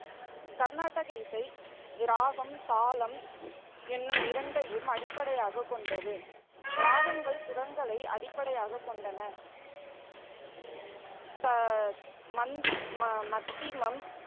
கர்நாடக இசை ராகம், தாளம் என்னும் இரண்டையும் அடிப்படையாகக் கொண்டது. ராகங்கள் சுரங்களை அடிப்படையாகக் கொண்டன. ச, மந்தி மத்திமம்,